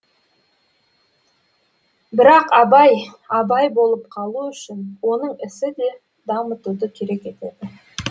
бірақ абай абай болып қалу үшін оның ісі де дамытуды керек етеді